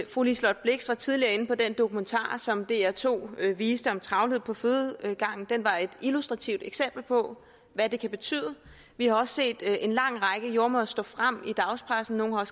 fru liselott blixt var tidligere inde på den dokumentar som dr2 viste om travlhed på fødegangen den var et illustrativt eksempel på hvad det kan betyde vi har også set en lang række jordemødre stå frem i dagspressen nogle har